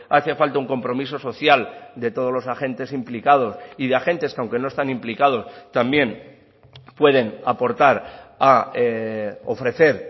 hace falta un compromiso social de todos los agentes implicados y de agentes que aunque no están implicados también pueden aportar a ofrecer